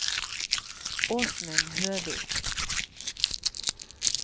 Åsmund Høvik